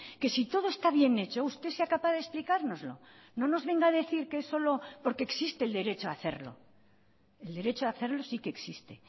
que si todo está bien hecho usted sea capaz de explicárnoslo no nos venga a decir que es solo porque existe el derecho a hacerlo el derecho a hacerlo sí que existe